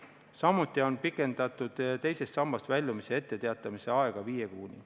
Samuti on teisest sambast väljumise etteteatamise aega pikendatud viie kuuni.